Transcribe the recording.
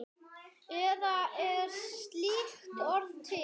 Eða er slíkt orð til?